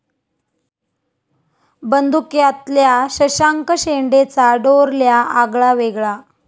बंदुक्या'तल्या शशांक शेंडेंचा डोरल्या आगळा वेगळा